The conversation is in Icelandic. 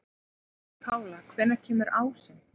Pála, hvenær kemur ásinn?